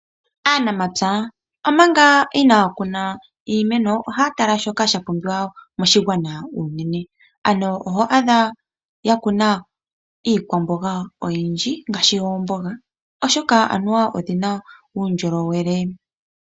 Aanamatsa omanga iinakuna iimeno ohaatala shoka shapumbiwa sha pumbiwa moshigwana uunene, ano ohwaadha yakuna iikwamboga oyindji oshoka oyina uundjolowele.